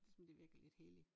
Som det virker lidt helligt